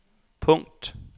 punkt